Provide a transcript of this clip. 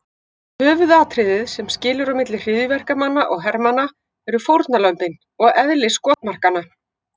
Höfuðatriðið sem skilur á milli hryðjuverkamanna og hermanna eru fórnarlömbin og eðli skotmarkanna.